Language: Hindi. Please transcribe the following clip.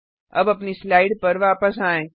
अब अपनी स्लाइड पर वापस आएँ